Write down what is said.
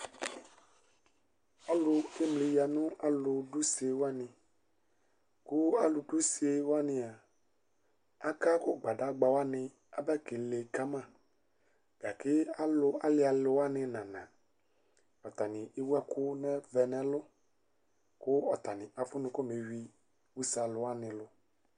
Ɔlʋ kemli yanʋ alʋ dʋ ʋsewani ava kʋ alʋdʋ ʋsewani a akakʋ gbadagbawani aba kele kama, gake alialʋ wani nana atani ewʋ ɛkʋvɛ nʋ ɛlʋ kʋ atani afʋnʋ kamewui ʋse alʋwani lʋ